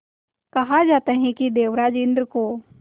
कहा जाता है कि देवराज इंद्र को